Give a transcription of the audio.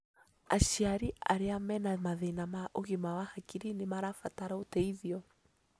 Aciari arĩa mena mathĩna ma ũgima wa hakiri nĩ marabatara ũteithio